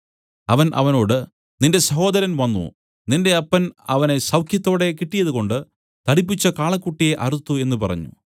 അവൻ അവനോട് നിന്റെ സഹോദരൻ വന്നു നിന്റെ അപ്പൻ അവനെ സൌഖ്യത്തോടെ കിട്ടിയതുകൊണ്ട് തടിപ്പിച്ച കാളക്കുട്ടിയെ അറുത്തു എന്നു പറഞ്ഞു